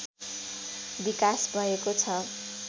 विकास भएको छ